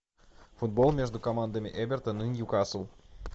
футбол между командами эвертон и ньюкасл